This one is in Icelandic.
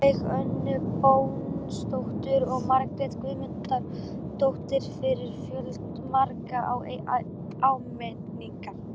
Sólveigu Önnu Bóasdóttur og Margréti Guðmundsdóttur fyrir fjölmargar ábendingar.